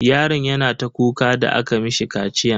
Yaron yana ta kuka da aka mishi kaciyan.